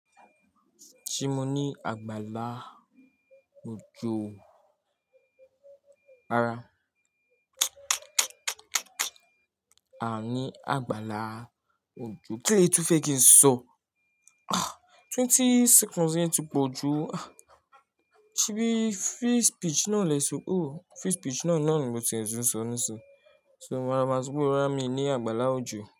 Sì mo ní àgbàlá ojó ara, a ni àgbàlá ojo. Kí le tún fẹ́ kí n sọ? Twenty seconds yẹn ti pọ̀ ju. Ṣebí free speech náà lè so. Oh free speech náà ni mo ti ẹ̀ tún sọ nísinyí. Mo máa máa sọ pé rárá mi ò ní àgbàlá ojo.